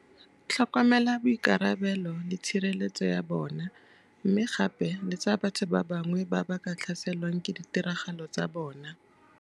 Tlhokomela boikarabelo le tshireletso ya bona, mme gape le tsa batho ba bangwe ba ba ka tlhaselwang ke ditiragalo tsa bona.